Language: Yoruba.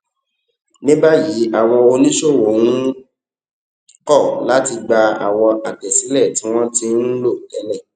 ní báyìí àwọn oníṣòwò ń kọ láti gba àwọn àtẹsílè tí wón ti ń lò télè